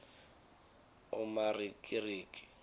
umarikiriki